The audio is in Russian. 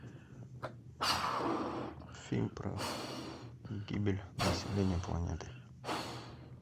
фильм про гибель населения планеты